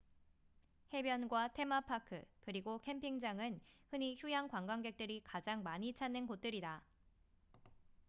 해변과 테마파크 그리고 캠핑장은 흔히 휴양 관광객들이 가장 많이 찾는 곳들이다